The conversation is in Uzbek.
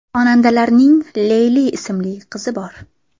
Xonandalarning Leyla ismli qizi bor.